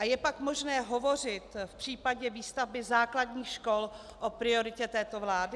A je pak možné hovořit v případě výstavby základních škol o prioritě této vlády?